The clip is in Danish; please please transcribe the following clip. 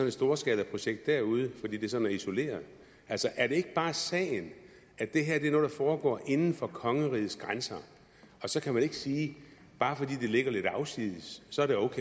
et storskalaprojekt derude fordi det sådan er isoleret er det ikke bare sagen at det her er noget der foregår inden for kongerigets grænser og så kan man ikke sige bare fordi det ligger lidt afsides